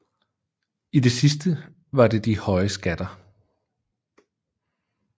I det sidste var det de høje skatter